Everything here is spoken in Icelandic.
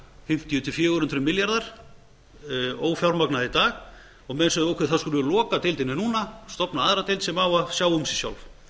fimmtíu til fjögur hundruð milljarðar ófjármagnað í dag og meira að segja þurfti að loka deildinni núna stofna aðra deild sem á að sjá um sig sjálf